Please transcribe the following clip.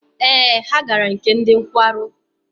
Ee, ha gara nke ndị nkwarụ.